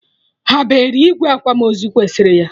Ha ebere igwe akwamozu kwesịrị ya?